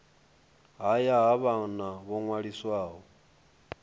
haya ha vhana ho ṅwaliswaho